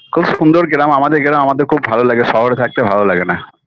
খুব সুন্দর গ্রাম আমাদের গ্রাম আমাদের খুব ভালো লাগে শহরে থাকতে ভালো লাগে না